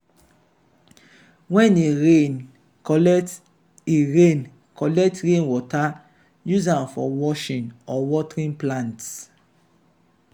when e rain collect e rain collect rainwater use am for washing or watering plants.